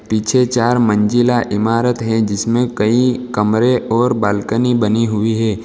पीछे चार मंजिला इमारत है जिसमें कई कमरे और बालकनी बनी हुई है।